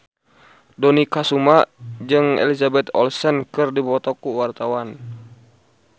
Dony Kesuma jeung Elizabeth Olsen keur dipoto ku wartawan